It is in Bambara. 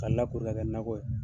Ka lakoro nakɔ